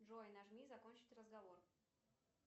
джой нажми закончить разговор